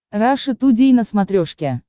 раша тудей на смотрешке